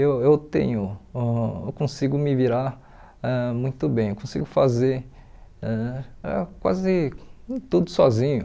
Eu eu tenho ãh eu consigo me virar ãh muito bem, consigo fazer ãh ah quase tudo sozinho.